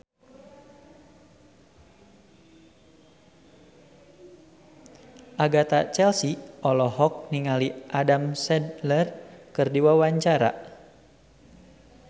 Agatha Chelsea olohok ningali Adam Sandler keur diwawancara